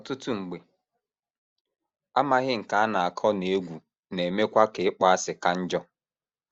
Ọtụtụ mgbe, amaghị nke a na - akọ na egwu na - emekwa ka ịkpọasị ka njọ.